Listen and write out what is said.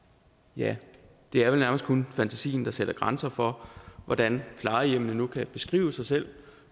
ja det er vel nærmest kun fantasien der sætter grænser for hvordan plejehjemmene nu kan beskrive sig selv